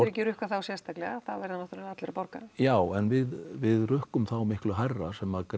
ekki rukkað þá sérstaklega það verða náttúrulega allir að borga já en við við rukkum þá miklu hærra sem